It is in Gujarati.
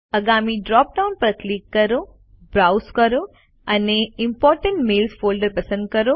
આગામી ડ્રોપ ડાઉન પર ક્લિક કરો બ્રાઉઝ કરો અને ઇમ્પોર્ટન્ટ મેઇલ્સ ફોલ્ડર પસંદ કરો